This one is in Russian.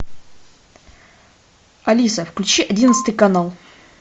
алиса включи одиннадцатый канал